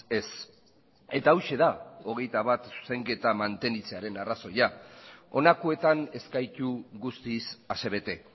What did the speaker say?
ez eta hauxe da hogeita bat zuzenketak mantentzearen arrazoia honakoetan ez gaitu guztiz asebete